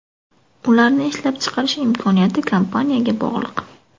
Ularni ishlab chiqarish imkoniyati kompaniyaga bog‘liq.